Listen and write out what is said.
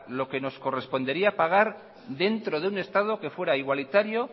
lo que nos correspondería pagar dentro de un estado que fuera igualitario